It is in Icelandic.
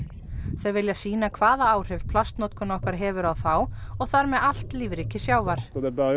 þau vilja sýna hvaða áhrif plastnotkun okkar hefur á þá og þar með allt lífríki sjávar